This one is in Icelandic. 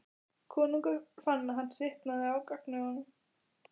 Konungur fann að hann svitnaði á gagnaugunum.